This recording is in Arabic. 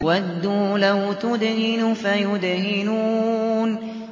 وَدُّوا لَوْ تُدْهِنُ فَيُدْهِنُونَ